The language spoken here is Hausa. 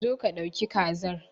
Zo ka dauki kazar.